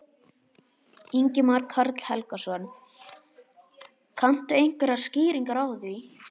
Ingimar Karl Helgason: Kanntu einhverjar skýringar á því?